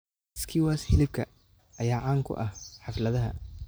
Skewers hilibka ayaa caan ku ah xafladaha.